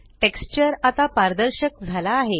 texture आता पारदर्शक झाला आहे